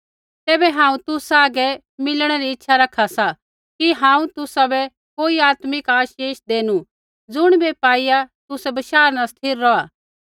तैबै हांऊँ तुसा सैंघै मिलणै री इच्छा रखा सा कि हांऊँ तुसाबै कोई आत्मिक आशीष देनु ज़ुणिबै पाईआ तुसै बशाह न स्थिर रौहा